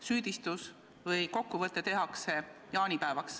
Süüdistus või kokkuvõte tehakse jaanipäevaks.